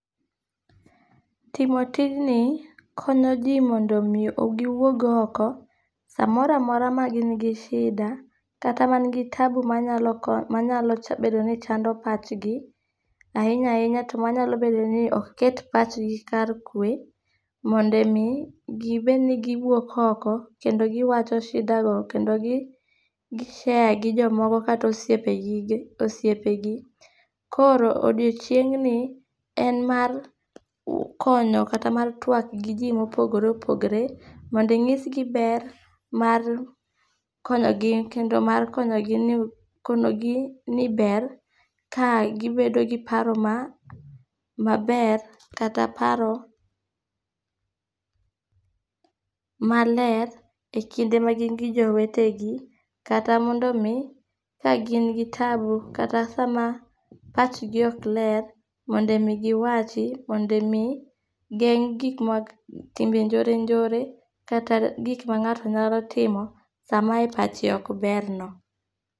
Timo tijni, konyo ji mondo omi giwuog oko, samoro amora ma gin gi shida, kata mangi tabu mayalo manyalo cha, manyalo bedo ni chando pachngi. Ahinya ahinya to manyalo bedo ni ok ket pachgi kar kwe, mondo omi, gibed ni giwuok oko, kendo giwacho shidago, kendo gi gi share gi jomoko. Kata osiepeji, osiepegi. Koro odiochieng'ni en mar konyo kata mar twak gi ji e yoo mopogore opogore, mondo inyisgi ber mar konyogi, kendo mar konyogi ni, konogi ni ber, ka gibedo gi paro ma maber, kata paro maler, e kinde ma gin gi jowetegi. Kata mondo omi, ka gin gi tabu, kata sama pachgi ok ler, mondo omi giwachi, mondo omi geng' gik ma, timbe njore njore, kata gik ma ngáto nyalo timo sama e pache okberno.